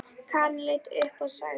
Karen leit upp og sagði